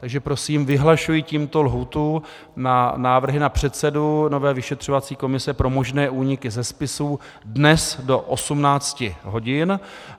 Takže prosím, vyhlašuji tímto lhůtu na návrhy na předsedu nové vyšetřovací komise pro možné úniky ze spisů dnes do 18 hodin.